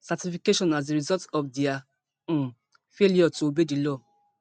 certification as a result of dia um failure to obey di law